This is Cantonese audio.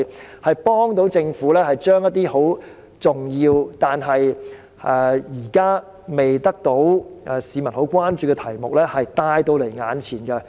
這些節目有助政府將一些十分重要，但現時未得到市民十分關注的題目帶到眼前。